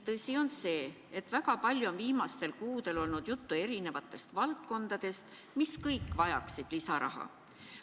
Tõsi on see, et väga palju on viimastel kuudel olnud juttu eri valdkondadest, mis kõik vajaksid lisaraha.